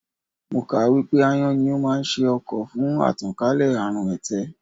Mo kà á wípé Ááyán ni ó máa ń ṣe ọkọ̀ fún àtànkálẹ̀ àrùn ẹ̀tẹ̀.